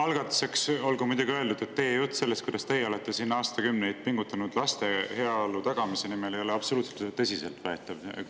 Algatuseks olgu muidugi öeldud, et teie jutt selle kohta, kuidas teie olete siin aastakümneid pingutanud laste heaolu tagamise nimel, ei ole absoluutselt tõsiseltvõetav.